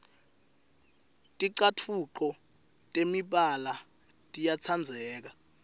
ticatfuco temibala tiyatsandzeka